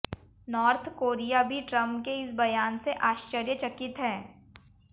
north Korea भी Trump के इस बयान से आश्चर्यचकित है